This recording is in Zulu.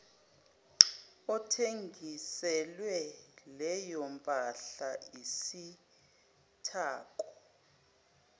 othengiselwe leyompahla isithako